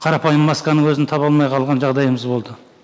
қарапайым масканың өзін таба алмай қалған жағдайымыз болды